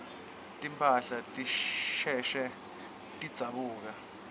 timphahla tisheshe tidzabuke